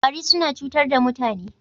Ƙwari suna cutar da mutane.